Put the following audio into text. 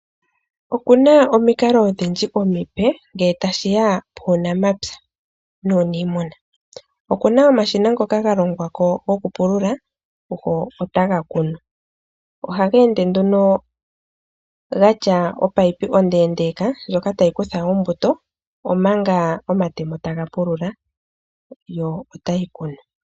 Okuna omikalo odhindji omipe ngele tashi ya puunamapya nuuniimuna. Opuna omashina ngoka galongwa gokupulula gotaga kunu. Ohaga ende nduno ga tya oopayipi ondeendeeka ndjoka tayi kutha ombuto Omanga omatemo taga pulula yo otayi kunu.